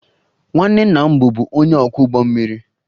Nwanne nna m bụbu onye ọkwọ ụgbọ mmiri